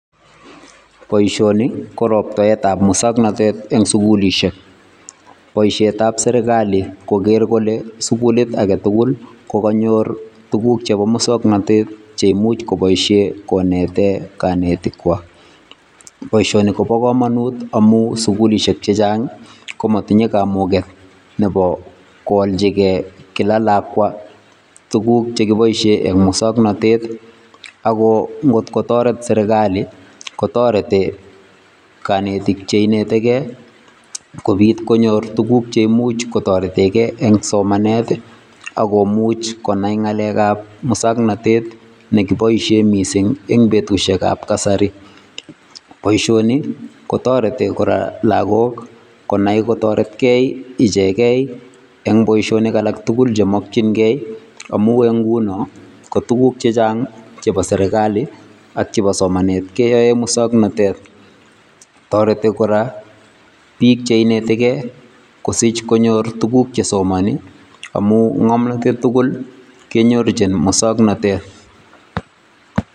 Boisioni ko roptaetab muswoknatet eng sukulisiek, boisietab serikali kogeer kole sukulisiek tugul kokanyor tuguk chebo muswoknatet che imuch kopoishe konetee kanetikwai. Boisioni kobo kamanut amun sukulisiek che chang komatinyei kamuket nebo koalchikei kila lakwa tuguk che kipoishen eng muswoknatet ako ngotko toret serikali kotoreti kanetik che inetikei kopit konyor tuguk che imuch kotoretekei eng somanet ako much konai ngalekab muswoknatet nekipoishen mising eng betusiekab kasari. Boisioni kotoreti kora lakok konai kotoretkei ichekei eng boisionik alak tugul chemakchinkei amun eng nguno ko tuguk che chang chebo serikali ak chebo somanet keyoe muswoknatet. Toreti kora biik che inetikei kosiich konyor tuguk che somani amun ngomnotet tugul kenyorchini muswoknatet.